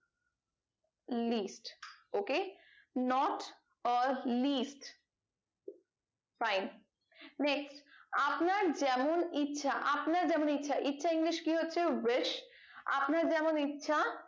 list ok not or list fine next আপনার যেমন ইচ্ছা আপনার যেমন ইচ্ছা ইচ্ছা english কি হচ্ছে wise আপনার যেমন ইচ্ছা